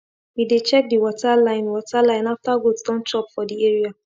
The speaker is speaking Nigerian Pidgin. we dey check the water line water line after goat don chop for the area